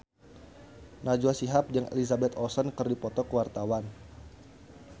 Najwa Shihab jeung Elizabeth Olsen keur dipoto ku wartawan